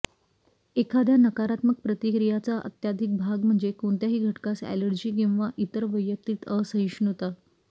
एखाद्या नकारात्मक प्रतिक्रियाचा अत्याधिक भाग म्हणजे कोणत्याही घटकास ऍलर्जी किंवा इतर वैयक्तिक असहिष्णुता